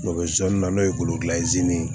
Dɔ bɛ zonzannin n'o ye